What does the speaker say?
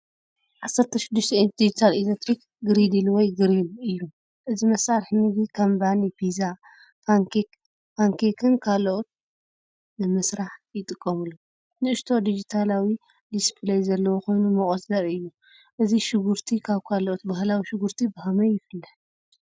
16 ኢንች ዲጂታል ኤሌክትሪክ ግሪድል ወይ ግሪል እዩ። እዚ መሳርሒ ምግቢ ከም ባኒ፡ ፒዛ፡ ፓንኬክ፡ ፓንኬክን ካልእን ንምስራሕ ይጥቀመሉ። ንእሽቶ ዲጂታላዊ ዲስፕለይ ዘለዎ ኮይኑ ሙቐት ዘርኢ እዩ። እዚ ሽጉርቲ ካብ ካልኦት ባህላዊ ሽጉርቲ ብኸመይ ይፍለ?